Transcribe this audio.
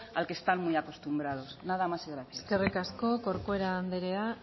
al que están muy acostumbrados nada más y muchas gracias eskerrik asko corcuera anderea